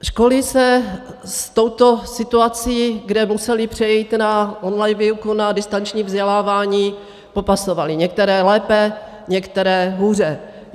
Školy se s touto situací, kde musely přejít na online výuku, na distanční vzdělávání, popasovaly, některé lépe, některé hůře.